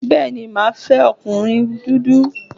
Bẹ́ẹ̀ni, màá fẹ́ ọkùnrin dúdú